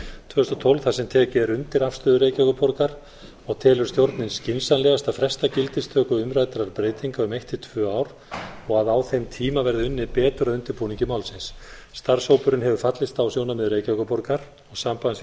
tvö þúsund og tólf þar sem tekið er undir afstöðu reykjavíkurborgar og telur stjórnin skynsamlegast að fresta gildistöku umræddrar breytingar um eitt til tvö ár og að á þeim tíma verði unnið betur að undirbúningi málsins starfshópurinn hefur fallist á sjónarmið reykjavíkurborgar og sambands